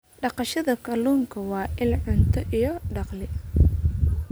Dhaqashada kalluunka waa il cunto iyo dakhli.